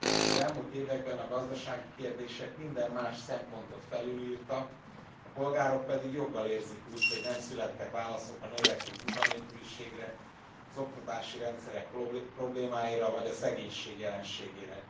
Az elmúlt években a gazdasági kérdések minden más szempontot felülírtak, a polgárok pedig joggal érzik úgy, hogy nem születtek válaszok a növekvő munkanélküliségre, az oktatási rendszerek problémáira vagy a szegénység jelenségére.